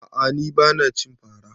A'a ni bana cin fara